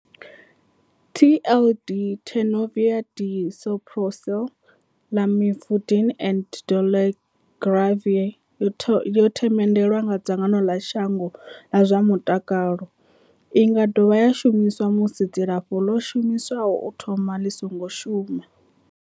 TLD, Tenofovir disoproxil, Lamivudine and dolutegravir, yo themendelwa nga dzangano ḽa shango ḽa zwa mutakalo. I nga dovha ya shumiswa musi dzilafho ḽo shumiswaho u thoma ḽi songo shuma.